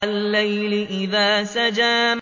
وَاللَّيْلِ إِذَا سَجَىٰ